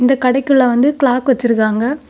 இந்த கடைக்குள்ள வந்து கிளாக் வச்சிருக்காங்க.